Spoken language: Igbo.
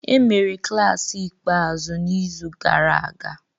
Emere klaasị ikpeazụ n'izu gara aga